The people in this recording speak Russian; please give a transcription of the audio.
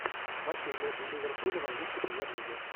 матчи ливерпуля в английской премьер лиги